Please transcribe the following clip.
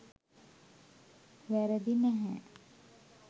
වැරදි නැහැ.